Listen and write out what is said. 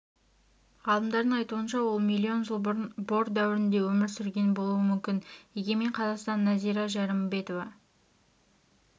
ғалымдардың айтуынша ол миллион жыл бұрын бор дәуірінде өмір сүрген болуы мүмкін егемен қазақстан нәзира жәрімбетова